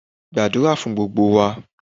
Gbàdúrà fún gbogbo wa!